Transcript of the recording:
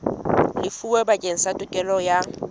lefuweng bakeng sa tokelo ya